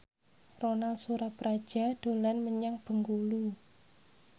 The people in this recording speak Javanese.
Ronal Surapradja dolan menyang Bengkulu